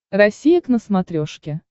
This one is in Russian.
россия к на смотрешке